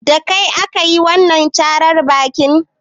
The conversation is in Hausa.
Da kai aka yi wanan càrar bakin?